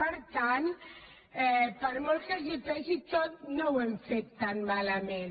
per tant per molt que els pesi tot no ho hem fet tan malament